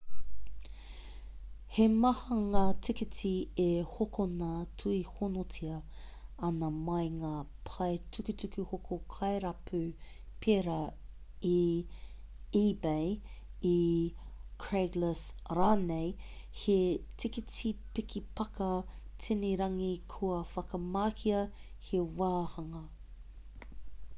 he maha ngā tīkiti e hokona tuihonotia ana mā ngā pae tukutuku hoko kairapu pērā i ebay i craiglist rānei he tīkiti piki-pāka tini-rangi kua whakamahia he wāhanga